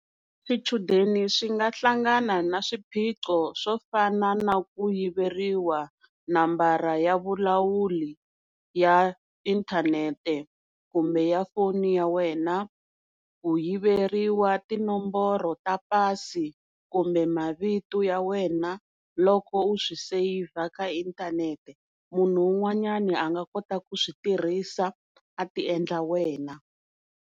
Swichudeni swi nga hlangana na swiphiqo swo fana na ku yiveriwa nambara ya vulawuri ya inthanete kumbe ya foni ya wena ku yiveriwa tinomboro ta pasi kumbe mavito ya wena loko u swi save ka inthanete munhu un'wanyani a nga kota ku switirhisa a ti endla wena.